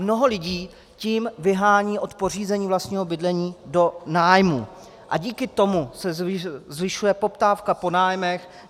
Mnoho lidí tím vyhání od pořízení vlastního bydlení do nájmů a díky tomu se zvyšuje poptávka po nájmech.